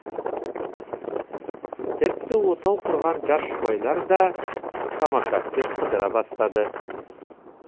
тіпті отау құрған жас жұбайлар да самокатпен қыдыра бастады